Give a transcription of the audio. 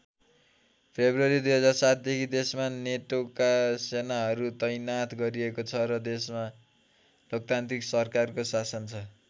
February २००७ देखि देशमा नेटोका सेनाहरू तैनाथ गरिएको छ र देशमा लोकतान्त्रिक सरकारको शासन छ।